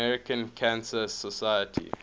american cancer society